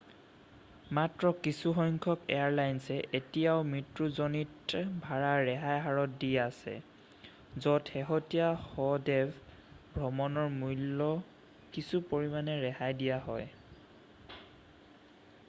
মাত্ৰ কিছুসংখ্যক এয়াৰলাইছে এতিয়াও মৃত্যুজনিত ভাড়া ৰেহাই হাৰত দি আছে য'ত শেহতীয়া শৱদেহ ভ্ৰমণৰ মূল্য কিছু পৰিমানে ৰেহাই দিয়া হয়